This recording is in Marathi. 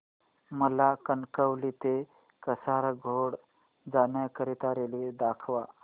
मला कणकवली ते कासारगोड जाण्या करीता रेल्वे दाखवा